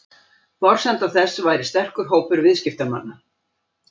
Forsenda þess væri sterkur hópur viðskiptamanna